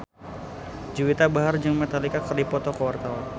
Juwita Bahar jeung Metallica keur dipoto ku wartawan